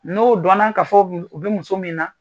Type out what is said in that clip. N'o dɔnna ka fɔ, o bɛ muso min na